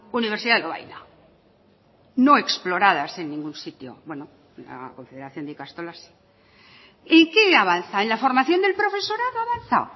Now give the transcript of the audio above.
universidad de lovaina no explorados en ningún sitio bueno la confederación de ikastolas y qué avanza en la formación del profesorado avanza